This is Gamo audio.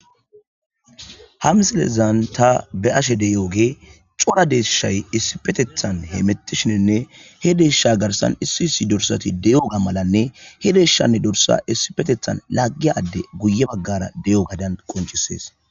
Ha misilezan ta beyashe diyogey cora deeyshay issipetethan hemetishininne he deysha garsan issi issi dorsati de'iyoga malane he deyshane dorsa issipetethan lagiya addey guye bagara deyogadan qoncises